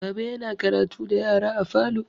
Baba yana karatu da yara a falo.